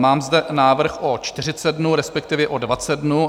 Mám zde návrh o 40 dnů, respektive o 20 dnů.